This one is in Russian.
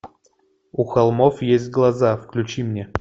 у холмов есть глаза включи мне